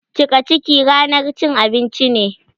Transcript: Cika ciki ranar cin abinci ce